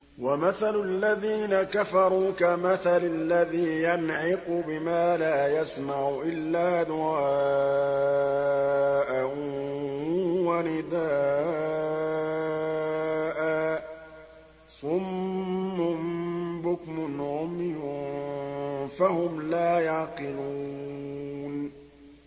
وَمَثَلُ الَّذِينَ كَفَرُوا كَمَثَلِ الَّذِي يَنْعِقُ بِمَا لَا يَسْمَعُ إِلَّا دُعَاءً وَنِدَاءً ۚ صُمٌّ بُكْمٌ عُمْيٌ فَهُمْ لَا يَعْقِلُونَ